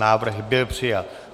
Návrh byl přijat.